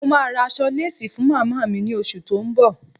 Mo máa ra aṣọ lésì fún màmá mi ní oṣù tó ń bọ̀.